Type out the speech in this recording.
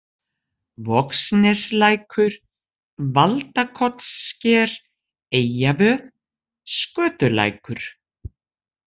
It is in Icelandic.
Vogsneslækur, Valdakotssker, Eyjavöð, Skötulækur